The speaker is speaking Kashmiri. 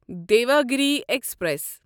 دیواگِری ایکسپریس